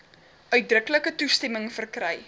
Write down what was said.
uitdruklike toestemming verkry